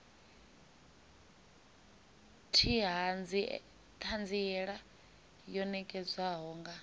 t hanziela yo nekedzwaho nga